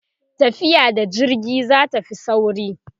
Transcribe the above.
tafiya da jirgi zatafi sauri